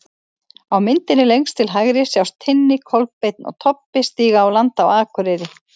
Á myndinni lengst til hægri sjást Tinni, Kolbeinn og Tobbi stíga á land á Akureyri.